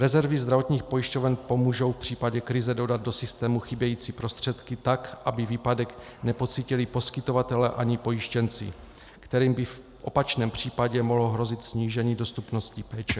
Rezervy zdravotních pojišťoven pomůžou v případě krize dodat do systému chybějící prostředky tak, aby výpadek nepocítili poskytovatelé ani pojištěnci, kterým by v opačném případě mohlo hrozit snížení dostupnosti péče.